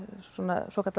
svo kallað